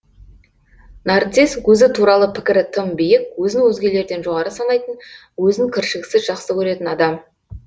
нарцисс өзі туралы пікірі тым биік өзін өзгелерден жоғары санайтын өзін кіршіксіз жақсы көретін адам